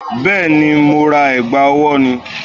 Bẹ́ẹ̀ni, mo ra ẹ̀gbà ọwọ́ ni